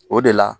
O de la